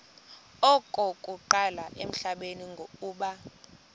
okokuqala emhlabeni uba